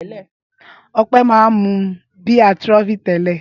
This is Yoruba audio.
Ọpẹ́ máa ń mú bíà Trophy tẹ́lẹ̀.